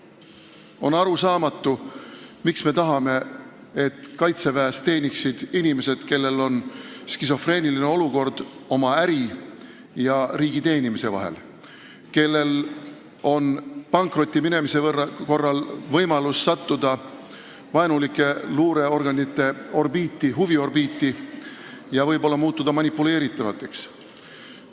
On arusaamatu, miks me tahame, et kaitsejõududes teeniksid inimesed, kellel on äri ajamise ja riigi teenimise mõttes tekkinud skisofreeniline olukord, kes võivad pankrotti minemise korral sattuda vaenulike luureorganite huviorbiiti ja muutuda manipuleeritavateks?